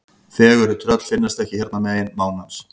Fegurri tröll finnast ekki hérna megin mánans.